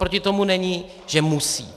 Oproti tomu není, že musí.